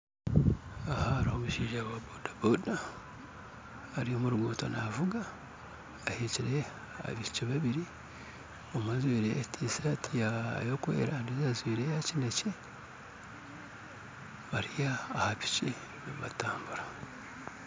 Aha hariho omushaija wa bodaboda ari omu ruguuto navuga ahekire abaishiki babiri omwe ajwaire tishati ekwera ondijo ajwaire eya kinekye bari aha piki nibatambura